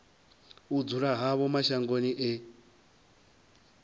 u dzula havho mashangoni e